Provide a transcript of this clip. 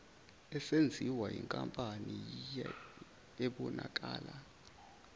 esenziwa yinkampani ebonakala